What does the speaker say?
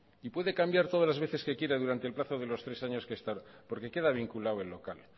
y puede cambiar todas las veces que quiera durante el plazo de los tres años que está porque queda vinculado el local